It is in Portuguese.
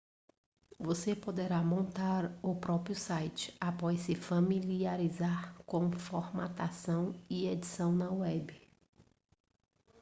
você poderá montar o próprio site após se familiarizar com formatação e edição na web